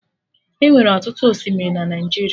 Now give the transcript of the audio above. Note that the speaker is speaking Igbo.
Enwere ọtụtụ osimiri na Naijiria